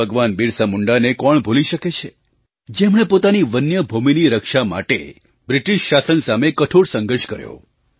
ભગવાન બિરસા મુંડાને કોણ ભૂલી શકે છે જેમણે પોતાની વન્ય ભૂમિની રક્ષા માટે બ્રિટિશ શાસન સામે કઠોર સંઘર્ષ કર્યો